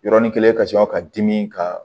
Yɔrɔnin kelen ka sɔrɔ ka dimi ka